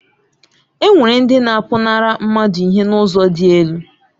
Enwere ndị na-apụnara mmadụ ihe n'ụzọ dị elu.